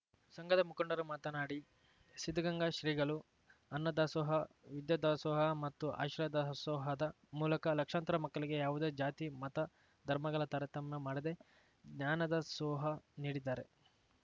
ಸಂಘದ ಮುಖಂಡರು ಮಾತನಾಡಿ ಸಿದ್ಧಗಂಗಾ ಶ್ರೀಗಳು ಅನ್ನದಾಸೋಹ ವಿದ್ಯೆ ದಾಸೋಹ ಮತ್ತು ಆಶ್ರಯ ದಾಸೋಹದ ಮೂಲಕ ಲಕ್ಷಾಂತರ ಮಕ್ಕಳಿಗೆ ಯಾವುದೇ ಜಾತಿ ಮತ ಧರ್ಮಗಳ ತಾರತಮ್ಯ ಮಾಡದೇ ಜ್ಞಾನದಾಸೋಹ ನೀಡಿದ್ದಾರೆ